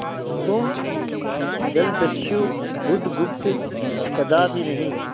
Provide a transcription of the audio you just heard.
तुम जलदस्यु बुधगुप्त कदापि नहीं